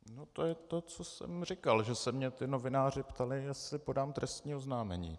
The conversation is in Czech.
No to je to, co jsem říkal, že se mě ti novináři ptali, jestli podám trestním oznámení.